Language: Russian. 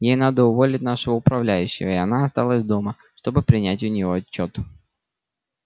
ей надо уволить нашего управляющего и она осталась дома чтобы принять у него отчёт